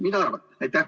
Mida arvate?